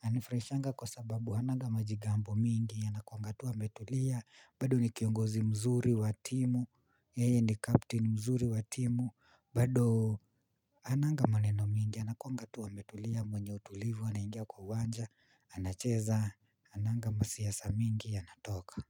Anifuraishanga kwa sababu ananga majigambo mingi anakuanga tu a metulia bado nikiongozi mzuri wa timu. Yeye ni captain mzuri wa timu bado ananga maneno mingi anakuanga tu a metulia mwenye utulivu anaingia kwa uwanja anacheza ananga masiasa mingi anatoka.